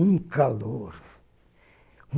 Um calor.